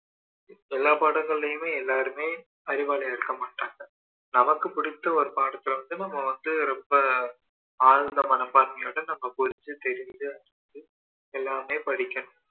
எல்லா பாடங்கள்ளையுமே எல்லாருமே அறிவாளியா இருக்க மாட்டாங்க நமக்கு பிடிச்ச ஒரு பாடத்துல வந்து நம்ம வந்து ரொம்ப தாழ்ந்த மனப்பான்மையோட நம்ம போயிட்டு தெரிஞ்சிகிட்டு எல்லாமே படிக்கணும்